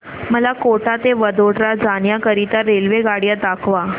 मला कोटा ते वडोदरा जाण्या करीता रेल्वेगाड्या दाखवा